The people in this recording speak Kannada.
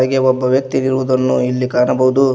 ಹೀಗೆ ಒಬ್ಬ ವ್ಯಕ್ತಿ ಇರುವುದನ್ನು ಇಲ್ಲಿ ಕಾಣಬಹುದು.